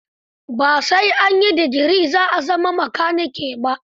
Ba sai an yi degree za a zama makanike ba.